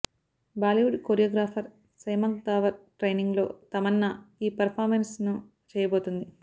Bollywood choreographer Shiamak Davar training లో తమన్నా ఈ performance ని చెయ్యబోతుంది